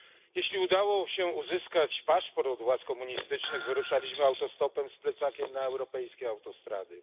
Jeśli udało się uzyskać paszport od władz komunistycznych, wyruszaliśmy autostopem z plecakiem na europejskie autostrady.